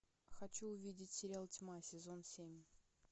хочу увидеть сериал тьма сезон семь